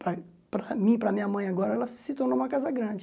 Para mim, para minha mãe agora, ela se tornou uma casa grande.